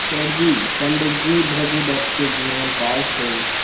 सेठ जी पंडित भृगुदत्त के जीवन काल से